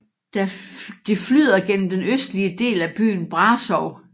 Det flyder gennem den østlige del af byen Brașov